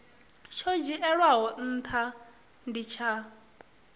tsho dzhielwaho ntha ndi tsha